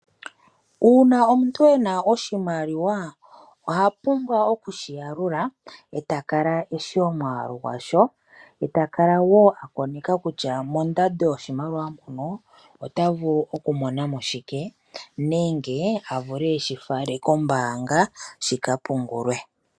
Uuna omuntu ena oshimaliwa oha pumbwa okushi yalula eta kala eshi omwaalu gwasho, eta kala wo akoneka kutya mondando yoshimaliwa muno ota vulu okumona mo shike nenge avule okushi fala kombaanga shikapungulwe.